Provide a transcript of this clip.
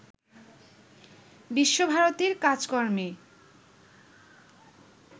বিশ্বভারতীর কাজেকর্মে